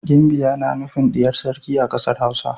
Ginbiya na nufin diyar sarki a kasar Hausa.